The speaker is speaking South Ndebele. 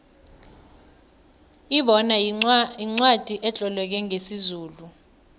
ibona yincwacli etloleke ngesizulu